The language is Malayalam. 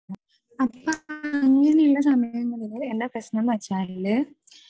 അപ്പൊ അങ്ങനെ ഉള്ള സമയങ്ങളിൽ എന്താ പ്രശനം എന്ന് വെച്ചാൽ